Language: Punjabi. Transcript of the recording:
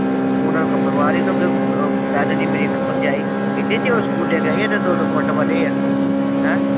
ਉਨ੍ਹਾਂ ਨੂੰ ਕੋਈ ਪਰਵਾਹ ਨਹੀ ਅੱਗੋ ਕਹਿ ਦਿੰਦੀ ਮੇਰੀ ਇੱਕ ਭਰਜਾਈ ਕਹਿੰਦੀ ਜੇ ਉਹ ਸਕੂਲ ਗਏ ਦੋ ਦੋ ਫੁੱਟ ਵਧੇ ਆ